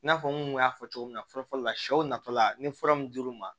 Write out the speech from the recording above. I n'a fɔ n kun y'a fɔ cogo min na fɔlɔ fɔlɔ la sɛw natɔla ni fura mun dir'u ma